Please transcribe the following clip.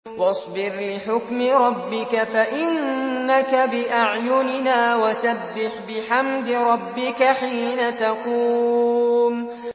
وَاصْبِرْ لِحُكْمِ رَبِّكَ فَإِنَّكَ بِأَعْيُنِنَا ۖ وَسَبِّحْ بِحَمْدِ رَبِّكَ حِينَ تَقُومُ